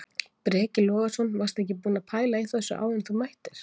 Breki Logason: Varstu ekkert búinn að pæla í þessu áður en þú mættir?